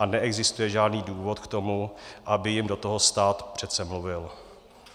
A neexistuje žádný důvod k tomu, aby jim do toho stát přece mluvil.